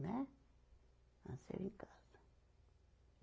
Né. Nasceram em casa.